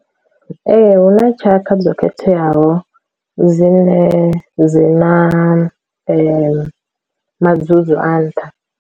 Ee hu na tshaka dzo khetheaho dzine dzi na madzudzu a nṱha.